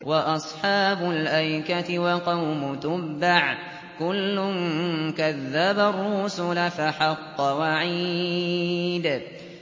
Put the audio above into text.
وَأَصْحَابُ الْأَيْكَةِ وَقَوْمُ تُبَّعٍ ۚ كُلٌّ كَذَّبَ الرُّسُلَ فَحَقَّ وَعِيدِ